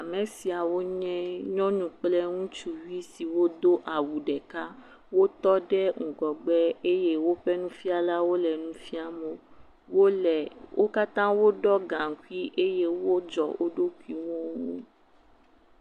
Ame siawo nye nyɔnu kple ŋutsuvi siwo do awu ɖeka, wotɔ ɖe ŋgɔgbe eye nufialawo le nu fiam wo, wole… wo katã woɖɔ gaŋkui eye wo dzɔ wo ɖokuiwo.